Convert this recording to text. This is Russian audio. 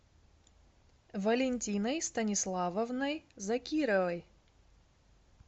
валентиной станиславовной закировой